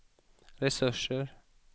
resurser